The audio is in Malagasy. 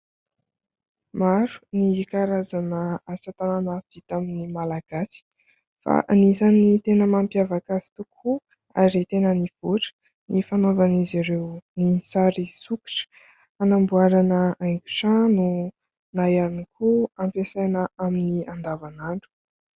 Maro ny karazana asa tanana vitan'ny Malagasy fa anisan'ny tena mampiavaka azy tokoa ary tena nivoatra ny fanaovan'izy ireo ny sary sokotra, hanamboarana haingo trano na ihany koa hampiasaina amin'ny andavan'andro.